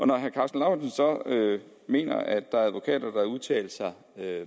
når herre karsten lauritzen så mener at der er advokater der har udtalt sig